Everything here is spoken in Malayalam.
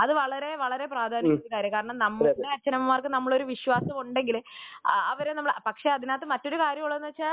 അത് വളരെ വളരെ പ്രാധാന്യമുള്ള കാര്യമാണ് അതായത് നമ്മളുടെ അച്ഛനമ്മമാർക്ക് നമ്മളെ വിശ്വാസം ഉണ്ടെങ്കിൽ അവര് നമ്മളെ പക്ഷെ അതിനകത്തു മറ്റൊരു കാര്യം എന്താണെന്നു വച്ചാൽ